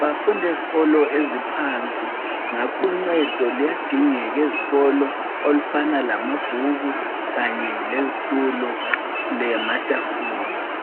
bafunda ezikolo eziphansi ngakho uncedo luyadingeka ezikolo olufana lamabhuku kanye lezitulo lamatafula